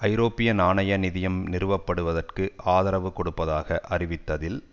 ஐரோப்பிய நாணய நிதியம் நிறுவ படுவதற்கு ஆதரவு கொடுப்பதாக அறிவித்ததில்